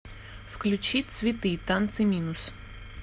включи цветы танцы минус